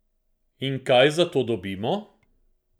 In kaj za to dobimo?